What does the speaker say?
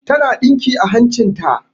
Ta na ɗinki a hancin ta